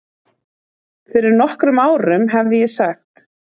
Fyrir nokkrum árum hefði ég sagt